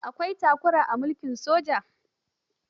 Akwai takura a mulkin soja.